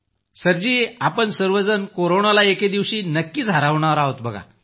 sir ji आपण सर्वजण कोरोनाला एके दिवशी नक्कीच हरवणार आहोत सर